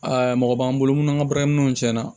mɔgɔ b'an bolo munnu ŋa baaraminɛnw cɛn na